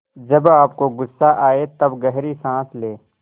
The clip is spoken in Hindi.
जब आपको गुस्सा आए तब गहरी सांस लें